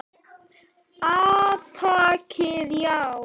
Átakið, já.